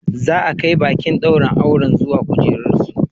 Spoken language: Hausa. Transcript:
Za a kai baƙin ɗaurin auren zuwa kujerunsu.